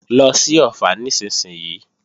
Lọ sí Ọ̀ffà nísinsìnyí!